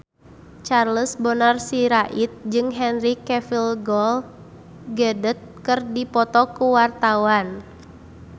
Charles Bonar Sirait jeung Henry Cavill Gal Gadot keur dipoto ku wartawan